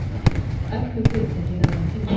Öflug fyrirtæki lögðu inn tilboð